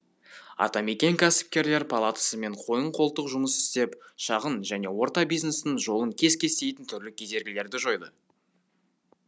атамекен кәсіпкерлер палатасымен қойын қолтық жұмыс істеп шағын және орта бизнестің жолын кес кестейтін түрлі кедергілерді жойды